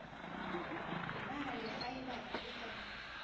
na le faebara e ka